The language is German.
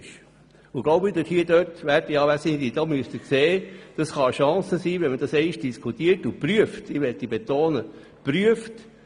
Es kann für den Kanton eine Chance sein, wenn man das seitens des AGG einmal prüft – ich betone: prüft.